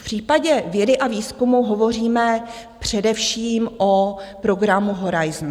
V případě vědy a výzkumu hovoříme především o programu Horizont.